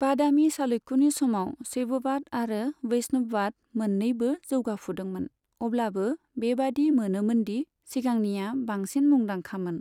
बादामि चालुक्यनि समाव शैववाद आरो वैष्णववाद मोन'नैबो जौगाफुदोंमोन, अब्लाबो बेबादि मोनोमोनदि सिगांनिया बांसिन मुंदांखामोन।